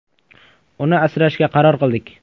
“Uni asrashga qaror qildik.